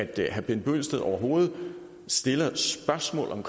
det at herre bent bøgsted overhovedet stiller et spørgsmål om